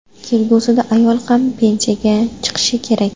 Kelgusida ayol ham pensiyaga chiqishi kerak.